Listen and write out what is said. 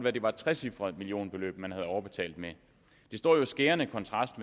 at det var et trecifret millionbeløb man havde overbetalt med det står jo i skærende kontrast